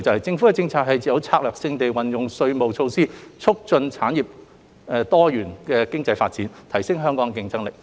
政府的政策是策略性地運用稅務措施，促進產業和多元經濟發展，提升香港的競爭力。